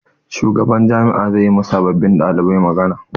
Shugaban jami'a zai yi ma sababbin ɗalibai magana.